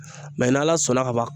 n'Ala sɔnna ka ban